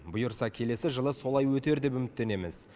бұйырса келесі жылы солай өтер деп үміттенеміз